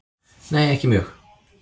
Nei ekki mjög.